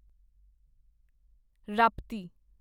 Rapti